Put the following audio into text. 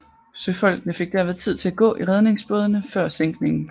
Søfolkene fik derved tid til at gå i redningsbådene før sænkningen